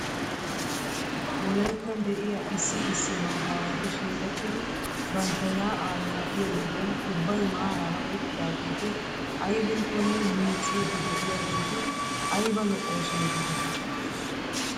Wolayttan de'iyaa issi issi maataawati shiiqettidi bantta yaa'aa yaa'iyo wodiyan ubbay maaraara uttidaageeti aybinkkonne miicciiddi de'iyaageeti ayba lo'oosona giidetii ?